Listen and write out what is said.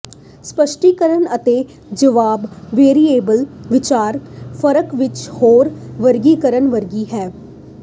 ਸਪੱਸ਼ਟੀਕਰਨ ਅਤੇ ਜਵਾਬ ਵੇਰੀਏਬਲ ਵਿਚਕਾਰ ਫਰਕ ਇਕ ਹੋਰ ਵਰਗੀਕਰਣ ਵਰਗੀ ਹੈ